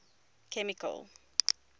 chemical